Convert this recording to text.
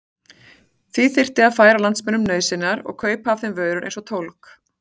Því þyrfti að færa landsmönnum nauðsynjar og kaupa af þeim vörur eins og tólg.